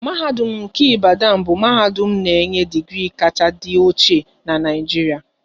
Mahadum nke Ibadan bụ mahadum na-enye digri kacha dị ochie n'Naijiria